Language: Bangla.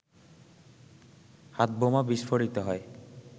হাতবোমা বিস্ফোরিত হয়